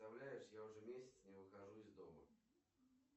представляешь я уже месяц не выхожу из дома